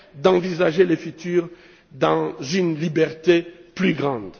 d'envisager le futur dans une liberté plus grande.